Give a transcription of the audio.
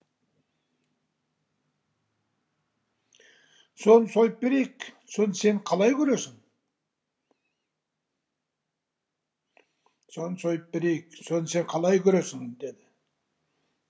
соны сойып берейік соны сен қалай көресің деді